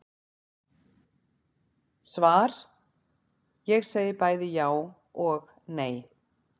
Svar Ég segi bæði já og nei.